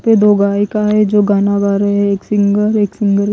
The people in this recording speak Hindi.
पे दो गायिका है जो गाना गा रहे हैं एक सिंगर एक सिंग--